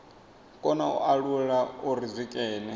kona u alula uri zwikene